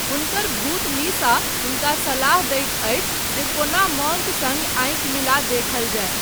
हुनकर भूत लिसा हुनका सलाह दैत अछि जे कोना मॉन्क सङ्ग आँखि मिला देखल जाय।